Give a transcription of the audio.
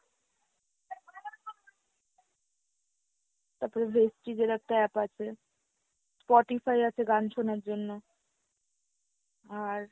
তাপরে Vestige এর একটা app আছে, Spotify আছে গান শোনার জন্য, আর